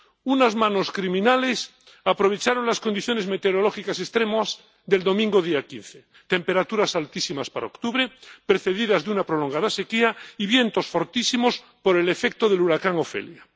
Unas manos criminales aprovecharon las condiciones meteorológicas extremas del domingo día 15 temperaturas altísimas para octubre precedidas de una prolongada sequía y vientos fortísimos por el efecto del huracán Ofelia.